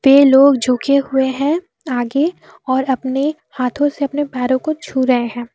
ये लोग झुके हुए हैं आगे और अपने हाथों से अपने पैरों को छू रहे हैं।